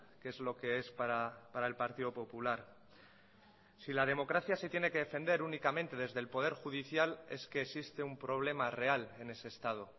que es lo que es para el partido popular si la democracia se tiene que defender únicamente desde el poder judicial es que existe un problema real en ese estado